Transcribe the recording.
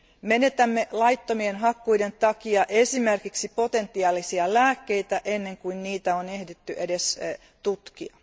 Menetämme laittomien hakkuiden takia esimerkiksi potentiaalisia lääkkeitä ennen kuin niitä on ehditty edes tutkia.